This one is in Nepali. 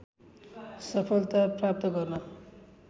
सफलता प्राप्त गर्न